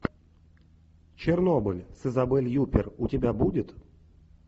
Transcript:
чернобыль с изабель юппер у тебя будет